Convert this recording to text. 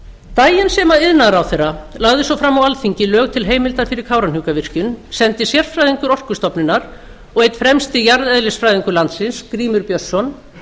daginn sem iðnaðarráðherra lagði svo fram á alþingi lög til heimildar fyrir kárahnjúkavirkjun sendir sérfræðingur orkustofnunar og einn fremsti jarðeðlisfræðingur landsins grímur björnsson